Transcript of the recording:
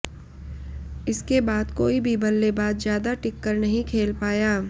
इसके बाद कोई भी बल्लेबाज ज्यादा टिककर नहीं खेल पाया